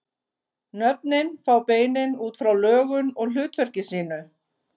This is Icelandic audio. Nöfnin fá beinin út frá lögun og hlutverki sínu.